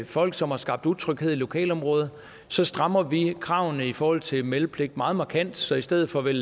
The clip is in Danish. folk som har skabt utryghed i lokalområdet så strammer vi kravene i forhold til meldepligt meget markant så i stedet for vel